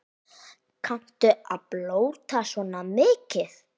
Kanntu að blóta svona mikið?